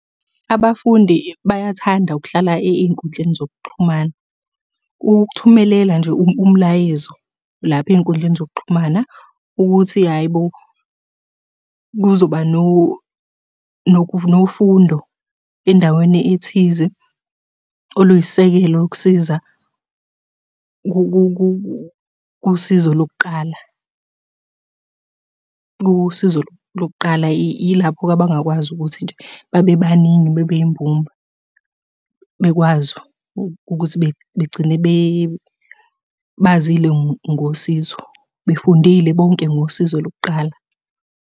Abafundi bayathanda ukuhlala ey'nkundleni zokuxhumana. Ukukuthumelela nje umlayezo lapha ey'nkundleni zokuxhumana ukuthi hhayi bo, kuzoba nofundo endaweni ethize oluyisisekelo lokusiza kusizo lokuqala. Kusizo lokuqala ilapho-ke abangakwazi ukuthi nje babe baningi, bebe yimbumba. Bekwazi ukuthi begcine bazile ngosizo, befundile bonke ngosizo lokuqala.